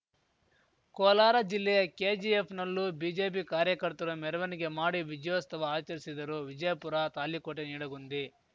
ಕೋಲಾರ ಜಿಲ್ಲೆಯ ಕೆಜಿಎಫ್‌ನಲ್ಲೂ ಬಿಜೆಪಿ ಕಾರ್ಯಕರ್ತರು ಮೆರವನಿಗೆ ಮಾಡಿ ವಿಜಯೋಸ್ತವ ಆಚರಿಸಿದರು ವಿಜಯಪುರತಾಳಿಕೋಟೆ ನಿಡಗುಂದಿ